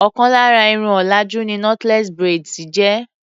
Ọ̀kan lára Irun òlàjú ni knotless braids jẹ́.